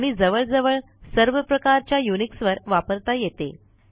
आणि जवळजवळ सर्वप्रकारच्या युनिक्सवर वापरता येते